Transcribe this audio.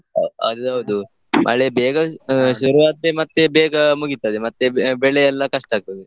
ಹ ಅದೌದು ಮಳೆ ಬೇಗ ಶುರು ಆದ್ರೆ ಮತ್ತೆ ಬೇಗ ಮುಗಿತದೆ ಮತ್ತೆ ಬೆ~ ಬೆಳೆ ಎಲ್ಲ ಕಷ್ಟ ಆಗ್ತದೆ.